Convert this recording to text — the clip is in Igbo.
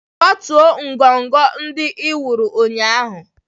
Kwatuo ngọngọ ndị ị wuru ụnyaahụ.